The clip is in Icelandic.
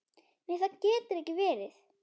Nei það getur ekki verið.